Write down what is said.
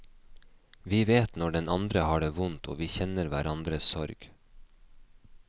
Vi vet når den andre har det vondt og vi kjenner hverandres sorg.